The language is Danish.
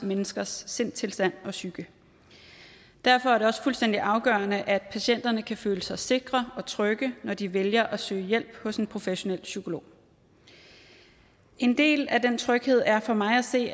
menneskers sindstilstand og psyke derfor er det også fuldstændig afgørende at patienterne kan føle sig sikre og trygge når de vælger at søge hjælp hos en professionel psykolog en del af den tryghed er for mig at se